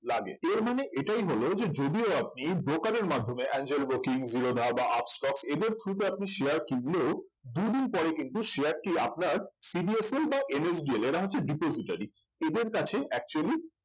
লাগে এর মানে এটাই হল যে যদিও আপনি broker এর মাধ্যমে এঞ্জেল ব্রোকিং জিরোধা বা আপস্টক্স এদের through তে আপনি share কিনলেও দুদিন পরে কিন্তু share টি আপনার CDSL বা NSDL এরা হচ্ছে depository এদের কাছে actually